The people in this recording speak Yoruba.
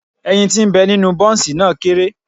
Ẹyin ti ń bẹ nínú Bọ́ǹsì náà kéré.